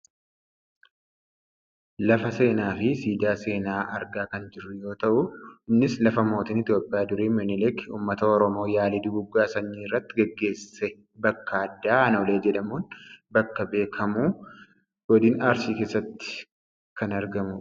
lafa seenaa fi siidaa seenaa argaa kan jirru yoo ta'u innis lafa mootiin Itoopiyaa durii Minilik uummata Oromoo yaalii duguuggaa sanyii irratti gaggesse bakka addaa Aannollee jedhamuun bakka beekkamu godin Arsii keessatti kan argamudha.